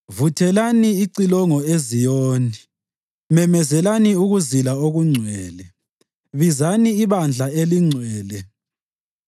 Vuthelani icilongo eZiyoni, memezelani ukuzila okungcwele, bizani ibandla elingcwele.